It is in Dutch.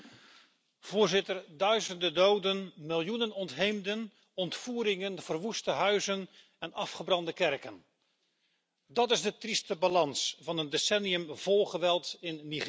Voorzitter, duizenden doden, miljoenen ontheemden, ontvoeringen, verwoeste huizen en afgebrande kerken, dat is de trieste balans van een decennium vol geweld in Nigeria.